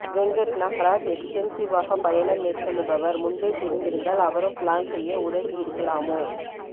வெங்கட் நாகராஜ் எக்ஸ்டென்சிவாக பயணம் மேற்கொள்ளுபவர் முன்பே தெரிந்திருந்தால் அவரும் ப்லான் செய்ய உதவி இருக்கலாமோ